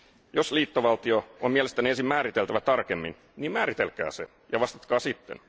Jos liittovaltio on mielestänne ensin määriteltävä tarkemmin, niin määritelkää se, ja vastatkaa sitten.